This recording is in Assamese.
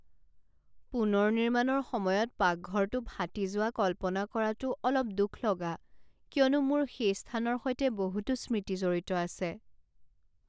পুনৰ নিৰ্মাণৰ সময়ত পাকঘৰটো ফাটি যোৱা কল্পনা কৰাটো অলপ দুখ লগা, কিয়নো মোৰ সেই স্থানৰ সৈতে বহুতো স্মৃতি জড়িত আছে।